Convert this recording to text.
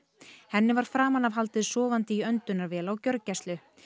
henni var framan af haldið sofandi í öndunarvél á gjörgæslu